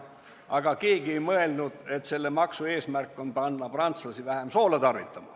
Seejuures keegi ei mõelnud, et selle maksu eesmärk on panna prantslasi vähem soola tarvitama.